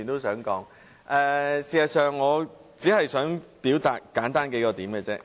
事實上，我只想表達幾個簡單論點。